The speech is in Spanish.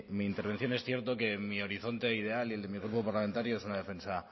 mi intervención es cierto que mi horizonte ideal y el de mi grupo parlamentario es una defensa